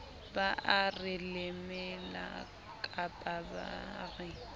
ba are lemela kapaba re